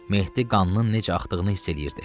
Mehdi qanının necə axdığını hiss eləyirdi.